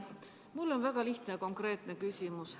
Mul on väga lihtne ja konkreetne küsimus.